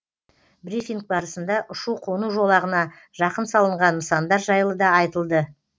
брифинг барысында ұшу қону жолағына жақын салынған нысандар жайлы да айтылды